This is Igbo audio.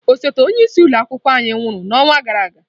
Osote onye isi ụlọ akwụkwọ anyị nwụrụ n'ọnwa gara aga.